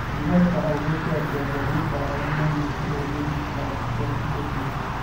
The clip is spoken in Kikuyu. Lilesa oigire atĩ andũ a nyũmba yao nĩ maanyitirwo nĩ thigari cia Ethiopia.